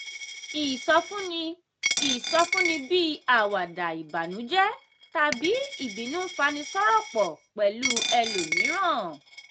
ìsọfúnni ìsọfúnni bíi àwàdà ìbànújẹ́ tàbí ìbínú ń fani sọ̀rọ̀ pọ̀ pẹ̀lú ẹlòmíràn.